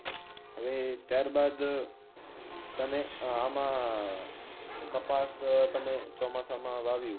હવે ત્યારબાદ, તમે આમાં કપાસ તમે ચોમાસામાં વાવ્યું